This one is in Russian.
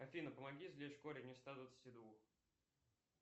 афина помоги извлечь корень из ста двадцати двух